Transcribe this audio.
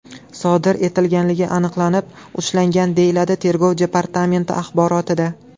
sodir etilganligi aniqlanib, ushlangan”, deyiladi Tergov departamenti axborotida.